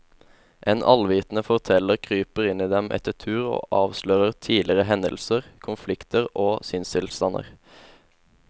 En allvitende forteller kryper inn i dem etter tur og avslører tidligere hendelser, konflikter og sinnstilstander.